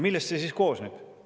Millest see siis koosneb?